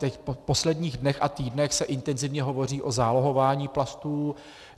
Teď v posledních dnech a týdnech se intenzivně hovoří o zálohování plastů.